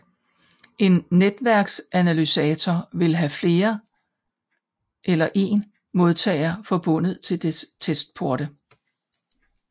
En netværksanalysator vil have en eller flere modtagere forbundet til dens testporte